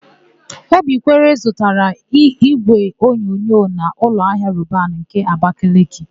Obikwere zụtara ígwéonyonyo n' ụlọahia Robanu nke Abakeleke.